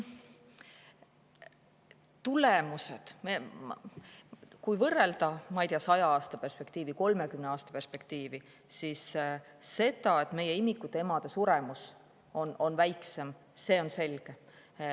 Tulemused, kui võrrelda, ma ei tea, saja aastaga, kolmekümne aastaga, siis see, et meie imikute emade suremus on väiksem, on selge.